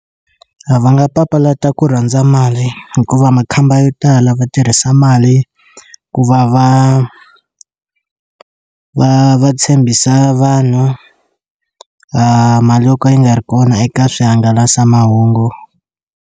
A va nga papalata ku rhandza mali hikuva makhamba yo tala va tirhisa mali ku va va va va tshembisa vanhu mali yo ka yi nga ri kona eka swihangalasamahungu.